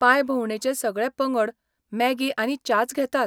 पांयभोंवडेचे सगळे पंगड मॅगी आनी च्याच घेतात.